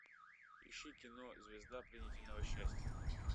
ищи кино звезда пленительного счастья